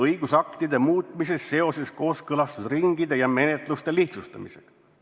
– õigusaktide muutmises seoses kooskõlastusringide ja menetluste lihtsustamisega.